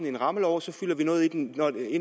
en rammelov og så fylder vi noget i den